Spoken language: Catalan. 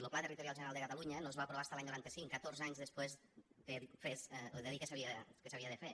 lo pla territorial general de catalunya no es va aprovar fins a l’any noranta cinc catorze anys després de dir que s’havia de fer